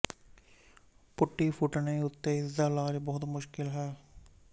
ਪੁਟੀ ਫੂਟਨੇ ਉੱਤੇ ਇਸ ਦਾ ਇਲਾਜ ਬਹੁਤ ਮੁਸ਼ਕਲ ਹੈ